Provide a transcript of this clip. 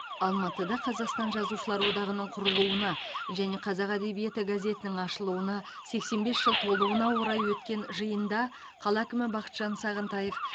алматыда қазақстан жазушылар одағының құрылуына және қазақ әдебиеті газетінің ашылуына сексен бес жыл толуына орай өткен жиында қала әкімі бақытжан сағынтаев